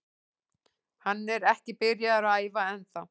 Hann er ekki byrjaður að æfa ennþá.